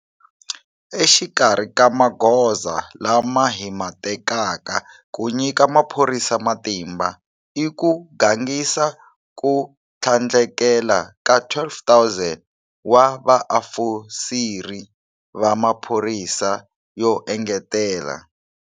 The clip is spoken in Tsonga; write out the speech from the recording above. Exikarhi ka magoza lama hi ma tekaka ku nyika maphorisa matimba i ku gangisa ko tlhandlekela ka 12 000 wa vaofisiri va maphorisa yo engetela.